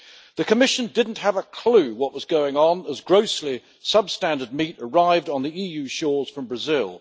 The Commission did not have a clue what was going on as grossly substandard meat arrived on EU shores from Brazil.